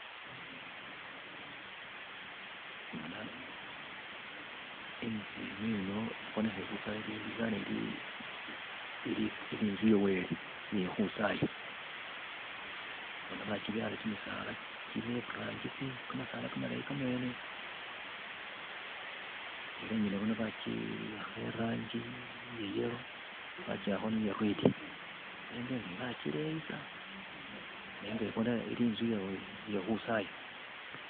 Bona, inzu ineno ibonekha faana ili inzu ye Wele iye khukhwisaya, bona bakyibyala kimisala kine iburangisi kamasala kamalayi naabi, ela ingene boona bakiwakha irangi iye yellow bakiwakhakho ni iye red nenga inzu iyi bakileyisa nenga ibonekha inzu ye Wele iye khukhwisaya.